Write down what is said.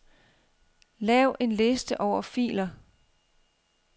Lav en liste over filer.